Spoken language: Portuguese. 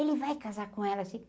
Ele vai casar com ela sim.